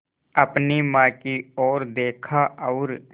अपनी माँ की ओर देखा और